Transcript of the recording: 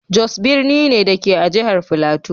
Jos birni ne, da ke a jihar Filato.